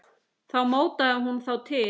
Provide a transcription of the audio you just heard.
Þá mótaði hún þá til.